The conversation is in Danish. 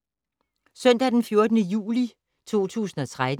Søndag d. 14. juli 2013